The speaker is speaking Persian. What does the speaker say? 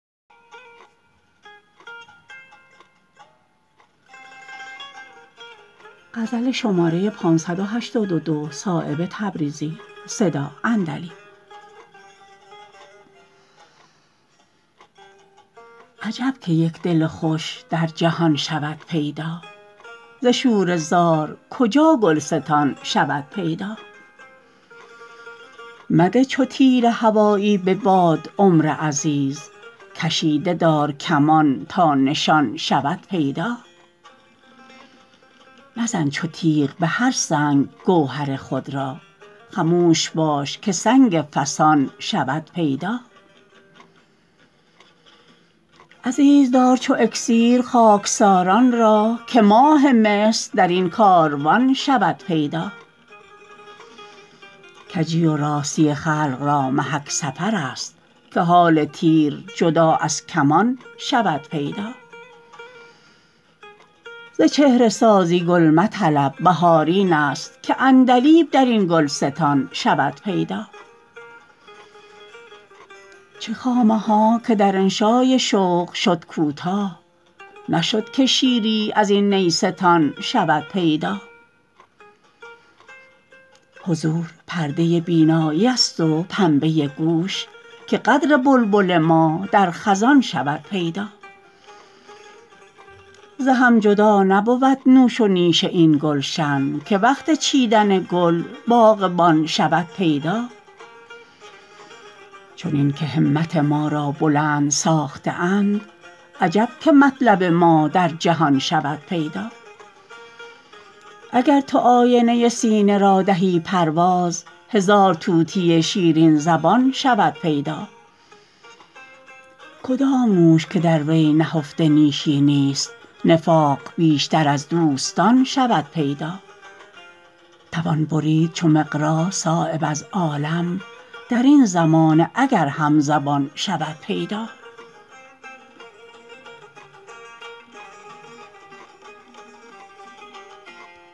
عجب که یک دل خوش در جهان شود پیدا ز شوره زار کجا گلستان شود پیدا مده چو تیر هوایی به باد عمر عزیز کشیده دار کمان تا نشان شود پیدا مزن چو تیغ به هر سنگ گوهر خود را خموش باش که سنگ فسان شود پیدا عزیز دار چو اکسیر خاکساران را که ماه مصر در این کاروان شود پیدا کجی و راستی خلق را محک سفرست که حال تیر جدا از کمان شود پیدا ز چهره سازی گل مطلب بهار این است که عندلیب در این گلستان شود پیدا چه خامه ها که در انشای شوق شد کوتاه نشد که شیری از این نیستان شود پیدا حضور پرده بینایی ست و پنبه گوش که قدر بلبل ما در خزان شود پیدا ز هم جدا نبود نوش و نیش این گلشن که وقت چیدن گل باغبان شود پیدا چنین که همت ما را بلند ساخته اند عجب که مطلب ما در جهان شود پیدا اگر تو آینه سینه را کنی پرداز هزار طوطی شیرین زبان شود پیدا کدام نوش که در وی نهفته نیشی نیست نفاق بیشتر از دوستان شود پیدا توان برید چو مقراض صایب از عالم در این زمانه اگر همزبان شود پیدا